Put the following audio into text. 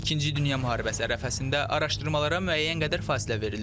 İkinci dünya müharibəsi ərəfəsində araşdırmalara müəyyən qədər fasilə verilir.